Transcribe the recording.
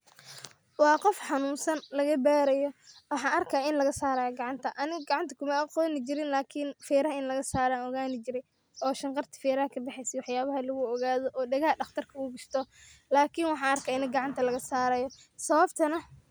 Waa qof xanunsan lagabarayo wxan arkaya inlagasarayo gacanta ainga gacanta maaqonjirn ,ferah inalagasarayo o ganjire oo shanqata feraha kabaxeyso in lagu ogado oo dagaha daqartka u gashto lakin wxan arkayo in gacanta laga sarayo sababtana.